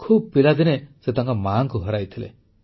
ଖୁବ ପିଲାଦିନେ ସେ ତାଙ୍କ ମାଙ୍କୁ ହରାଇଥିଲେ